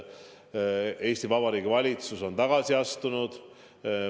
Eesti Vabariigi valitsus on tagasi astunud.